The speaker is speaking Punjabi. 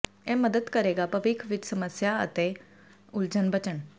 ਇਹ ਮਦਦ ਕਰੇਗਾ ਭਵਿੱਖ ਵਿੱਚ ਸਮੱਸਿਆ ਹੈ ਅਤੇ ਉਲਝਣ ਬਚਣ